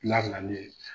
Labilali ye